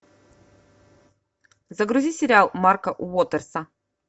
загрузи сериал марка уотерса